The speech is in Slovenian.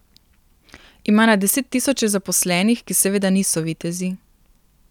Ima na desettisoče zaposlenih, ki seveda niso vitezi.